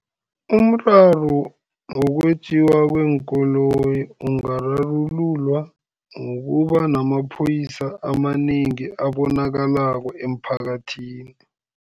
Umraro wokwetjiwa kweenkoloyi, ungararululwa ngokuba namaphoyisa amanengi abonakalako emphakathini.